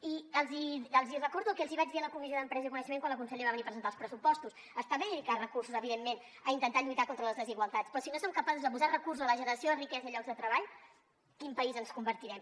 i els recordo el que els hi vaig dir a la comissió d’empresa i coneixement quan la consellera va venir a presentar els pressupostos està bé dedicar recursos evidentment a intentar lluitar contra les desigualtats però si no som capaços de posar recursos a la generació de riquesa i llocs de treball en quin país ens convertirem